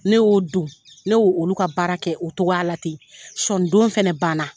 Ne y'o don ne y'o olu ka baara kɛ? o togoyala ten sɔɔni don fana banna.